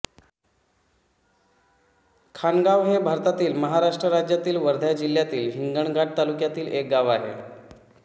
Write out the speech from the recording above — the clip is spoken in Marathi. खानगाव हे भारतातील महाराष्ट्र राज्यातील वर्धा जिल्ह्यातील हिंगणघाट तालुक्यातील एक गाव आहे